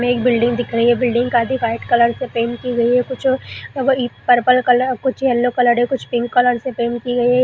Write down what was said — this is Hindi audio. इसमे एक बिल्डिंग दिख रही है बिल्डिंग का भी व्हाइट कलर से पेंट की गई है कुछो कुछ पर्पल कलर कुछ येलो कलर है कुछ पिंक कलर से पेंट की गई।